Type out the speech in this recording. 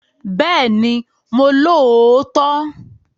Bẹ́ẹ̀ni mo lóòótọ́